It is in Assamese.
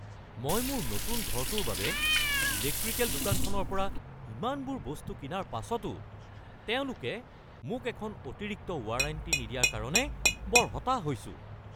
মই মোৰ নতুন ঘৰটোৰ বাবে ইলেক্ট্ৰিকেল দোকানখনৰ পৰা ইমানবোৰ বস্তু কিনাৰ পাছতো তেওঁলোকে মোক এখন অতিৰিক্ত ৱাৰেণ্টি নিদিয়াৰ কাৰণে বৰ হতাশ হৈছোঁ।